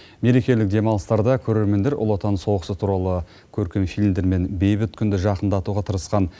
мерекелік демалыстарда көрермендер ұлы отан соғысы туралы көркем фильмдер мен бейбіт күнді жақындатуға тырысқан